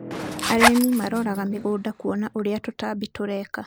Arĩmi maroraga mĩgũnda kũona ũrĩa tũtambi tũreka.